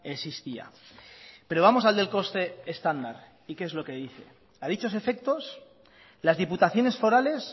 existía pero vamos al del coste estándar y qué es lo que dice a dichos efectos las diputaciones forales